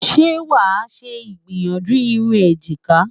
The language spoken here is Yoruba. ṣé wà ṣé igbiyanju irún ejika?